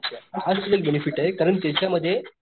हाच तुझा बेनेफिटे कारण त्याच्या मध्ये,